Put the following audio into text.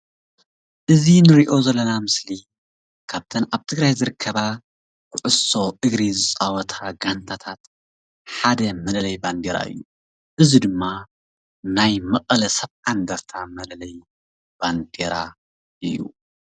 እዚ እንሪኦ ዘለና ምስሊ ካብተን ኣብ ትግራይ ዝርከባ ኩዕሶ እግሪ ዝፃወታ ጋንታት ሓደ መለለይ ባንዴራ እዪ ።እዚ ድማ ናይ መቀለ 70 እንደርታ መለለዪ ባንዴራ እዩ፡፡